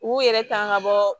U yɛrɛ tanga bɔ